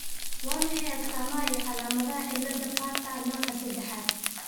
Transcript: Waa maxay astamaha iyo calaamadaha cilada Bartter nooca sedexaad?